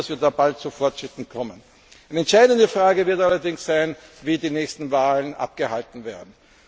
Ich hoffe, dass wir da bald zu Fortschritten kommen. Eine entscheidende Frage wird allerdings sein, wie die nächsten Wahlen abgehalten werden.